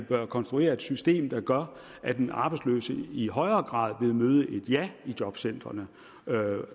konstruere et system der gør at den arbejdsløse i højere grad vil møde et ja i jobcentrene